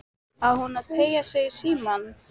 Á hún að teygja sig í símann?